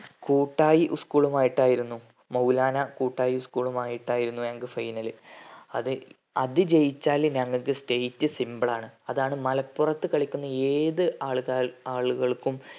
കൂട്ടായി school ഉം ആയിട്ടാണ് മൗലാനാം കൂട്ടായി school മായിട്ടായിരുന്നു ഞങ്ങക്ക് final അത് അത് ജയിച്ചാല് ഞങ്ങക്ക് state simple ആണ് അതാണ് മലപ്പുറത്തു കളിക്കുന്ന ഏതു ആള് കാൾ ആളുകൾക്കും